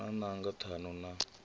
hu na nanga ṱhanu na